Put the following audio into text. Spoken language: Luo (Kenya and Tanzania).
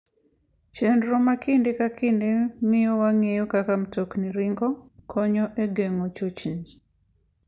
Chenro ma kinde ka kinde miyo wang'eyo kaka mtokni ringo konyo e geng'o chochni.